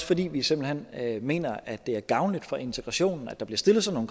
fordi vi simpelt hen mener at det er gavnligt for integrationen at der bliver stillet sådan